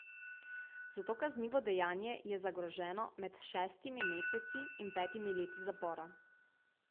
Za to kaznivo dejanje je zagroženo med šestimi meseci in petimi leti zapora.